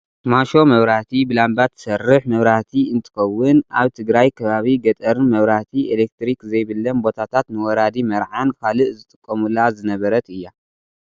ማሾ መብራህቲ ብላምባ ትሰርሕ መብራህቲ እንትከውን ኣብ ትግራይ ከባቢ ገጠርን መብራህቲ ኤሌትሪክ ዘይብለን ቦታታት ንወራዲ መርዓን ካልእን ዝጥቀሙላ ዝነበረት እያ።